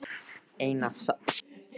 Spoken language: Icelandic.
Eina smásögu get ég sagt þér.